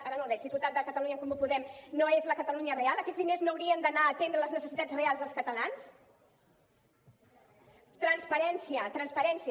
ara no el veig diputat de catalunya en comú podem no és la catalunya real aquests diners no haurien d’anar a atendre les necessitats reals dels catalans transparència transparència